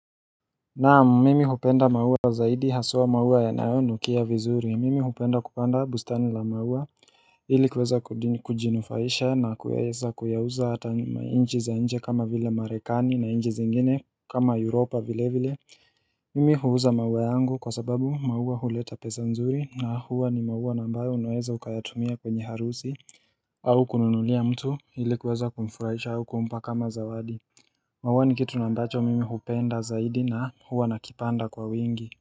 Naam mimi hupenda maua zaidi hasua maua yanayo nukia vizuri mimi hupenda kupanda bustani la maua Hili kuweza kujinufaisha na kuweza kuyauza hata mainchi za nje kama vile marekani na nje zingine kama europa vile vile Mimi huuza maua yangu kwa sababu maua huleta pesa nzuri na huwa ni maua nambayo unaweza ukayatumia kwenye harusi au kununulia mtu hili kuweza kumfurahisha au kuumpa kama zawadi Mauwa ni kitu nambacho mimi hupenda zaidi na huwa nakipanda kwa wingi.